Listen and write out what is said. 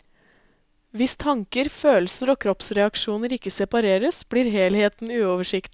Hvis tanker, følelser og kroppsreaksjoner ikke separeres, blir helheten uoversiktlig.